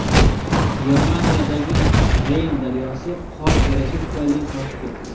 Germaniyadagi Reyn daryosi qor erishi tufayli toshib ketdi.